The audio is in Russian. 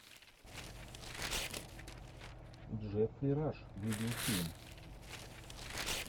джеффри раш видеофильм